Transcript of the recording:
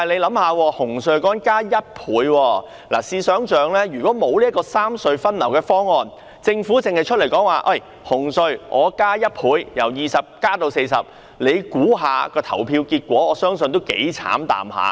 不過，大家試想象，如果沒有三隧分流的方案，政府只說紅隧加價1倍，由20元增至40元，表決結果將會如何？